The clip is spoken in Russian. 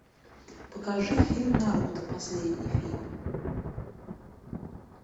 покажи фильм наруто последний фильм